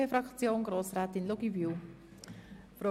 Wir haben es gehört: